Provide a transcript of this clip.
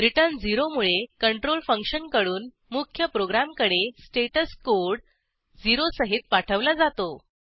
return 0 मुळे control फंक्शनकडून मुख्य प्रोग्रॅमकडे स्टेटस कोड 0 सहित पाठवला जातो